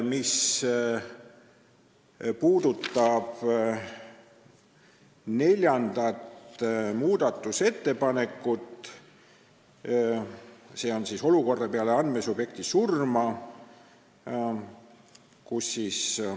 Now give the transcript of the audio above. Neljas muudatusettepanek käsitleb olukorda pärast andmesubjekti surma.